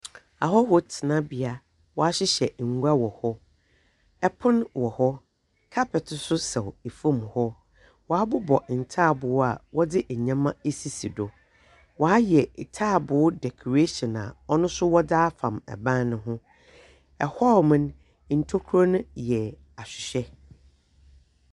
Ahɔho tenabea, wahyehyɛ ngua wɔ hɔ. Ɛpon wɔ hɔ, kapɛt so sɛw efom hɔ. Wabobɔ ntaaboo a wɔdze nyɛma asisi do. Wayɛ taaboo dɛkorahyɛn a wɔde ɔno so wɔdze afam ɛban no ho. Ɛhɔɔmo no, ntokuro no yɛ ahwehwɛ.